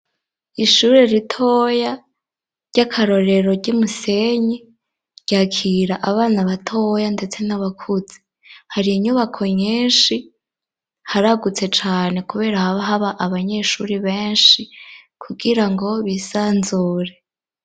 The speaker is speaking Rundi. Ishure ritoya ry'akarorero ry'i Musenyi, ryakira abana batoya ndetse n'abakuze, hari inyubako nyinshi, haragutse cane kubera haba abanyeshuri benshi kugira ngo bisanzure.